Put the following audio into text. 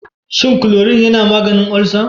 Shin klorin yana maganin ulcer?